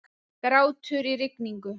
Grátur í rigningu.